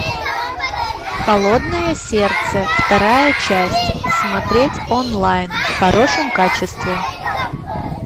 холодное сердце вторая часть смотреть онлайн в хорошем качестве